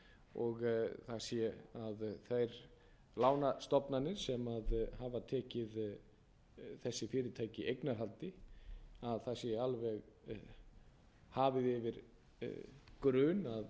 og það sé að þær lánastofnanir sem hafa tekið þessi fyrirtæki eignarhaldi að það sé alveg hafið yfir grun að þar séu menn að